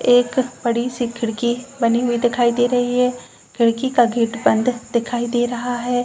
एक बड़ी सी खिड़की बनी हुई दिखाई दे रही है। खिड़की का गेट बंद दिखाई दे रहा है।